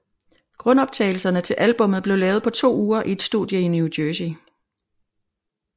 Grundoptagelserne til albummet blev lavet på to uger i et studie New Jersey